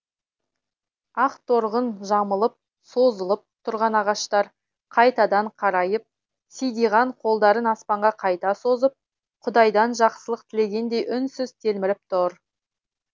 ақторғын жамылып сызылып тұрған ағаштар қайтадан қарайып сидиған қолдарын аспанға қайта созып құдайдан жақсылық тілегендей үнсіз телміріп тұр